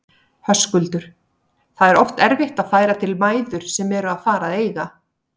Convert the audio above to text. Höskuldur: Það er oft erfitt að færa til mæður sem eru að fara að eiga?